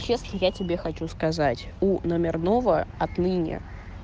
если я тебе хочу сказать у номерного отныне